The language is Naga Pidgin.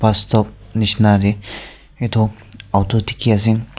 bus stop nishina teh itu alto dikhi ase.